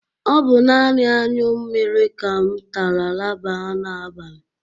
Ọ bụ nani añyụ mmiri ka m tara laba n'abalị